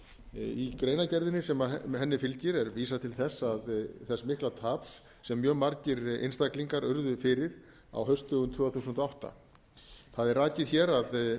í greinargerðinni sem henni fylgir er vísað til þess mikla taps sem mjög margir einstaklingar urðu fyrir á haustdögum tvö þúsund og átta það er rakið hér að